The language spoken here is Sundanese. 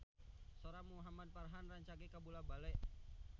Sora Muhamad Farhan rancage kabula-bale